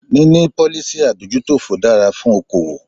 Níní policy adójútòfò dára fún okoòwò.